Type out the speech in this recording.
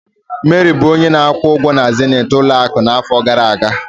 Mary bụ onye na-akwụ ụgwọ na zenith ụlọ akụ n'afọ gara aga.